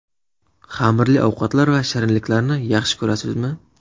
Xamirli ovqatlar va shirinliklarni yaxshi ko‘rasizmi?